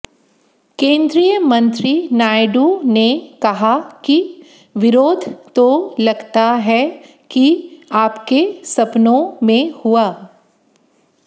केंद्रीय मंत्री नायडू ने कहा कि विरोध तो लगता है कि आपके सपनों में हुआ